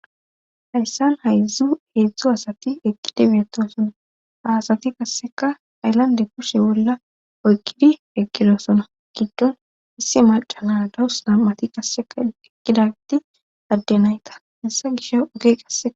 Hayssan haydzdzu heedzdzu asati eqqide beetosona haasati qasseka ayllande kushe bolla oykkidi eqqidosona giddon isse macana dawus nammati kasseka eqqidati adde nayta hissa gish oge qassea.